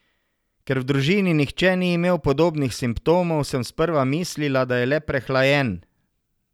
Ker v družini nihče ni imel podobnih simptomov, sem sprva mislila, da je le prehlajen.